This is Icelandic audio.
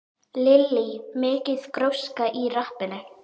Lillý: Mikil gróska í rappinu?